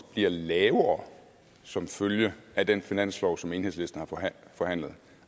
bliver lavere som følge af den finanslov som enhedslisten har forhandlet